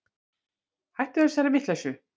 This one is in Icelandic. Hættu þessari vitleysu.